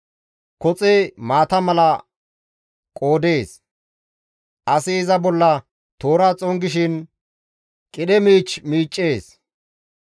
Koxe maata mala qoodees; asi iza bolla toora xongishin qidhe miich miiccees.